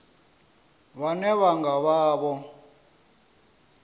vhane vha nga vha vho